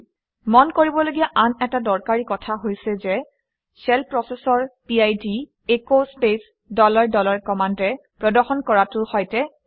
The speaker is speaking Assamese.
মন কৰিবলগীয়া আন এটা দৰকাৰী কথা হৈছে যে শ্বেল প্ৰচেচৰ PID as space dollar dollar কমাণ্ডে প্ৰদৰ্শন কৰাটোৰ সৈতে একে